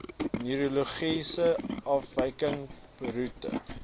neurologiese afwykings beroerte